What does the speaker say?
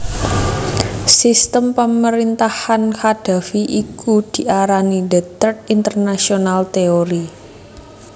Sistem pemerintahan Qaddafi iki diarani The Third International Theory